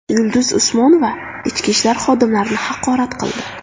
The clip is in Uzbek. Yulduz Usmonova ichki ishlar xodimlarini haqorat qildi.